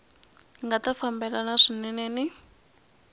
nga ta fambelana swinene ni